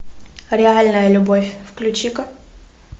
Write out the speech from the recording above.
реальная любовь включи ка